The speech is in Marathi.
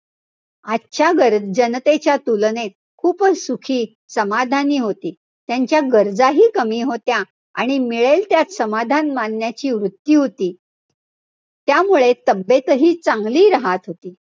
आजच्या जनतेच्या तुलनेत खूपच सुखी, समाधानी होती. त्यांच्या गरजही कमी होत्या. आणि मिळेल त्यात समाधान मानण्याची वृत्ती होती. त्यामुळे तब्येतही चांगली राहत होती.